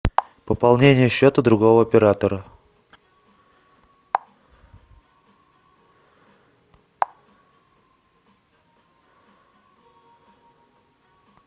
пополнение счета другого оператора